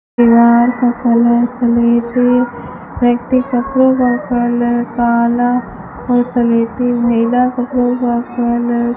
दीवार का कलर स्लेटी व्यक्ति कपड़ों का कलर काला व स्लेटी महिला कपड़ों का कलर --